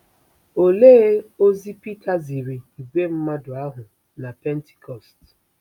Olee ozi Pita ziri ìgwè mmadụ ahụ na Pentikọst?